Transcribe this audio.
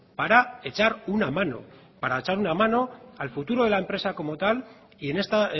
para echar una mano para echar una mano al futuro de la empresa como tal y en esta